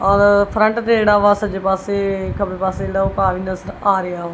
ਔਰ ਫਰੰਟ ਤੇ ਜਿਹੜਾ ਵਾ ਸੱਜੇ ਪਾਸੇ ਖੱਬੇ ਪਾਸੇ ਜਿਹੜਾ ਆ ਰਿਹਾ ਵਾ।